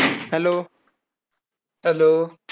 Hello